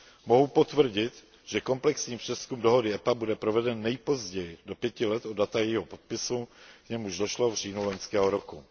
Mohu potvrdit, že komplexní přezkum dohody EPA bude proveden nejpozději do pěti let od data jejího podpisu, k němuž došlo v říjnu loňského roku.